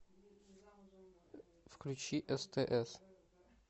включи стс